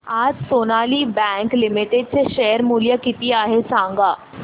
आज Sonali bank limited चे share मूल्य किती आहे सांगा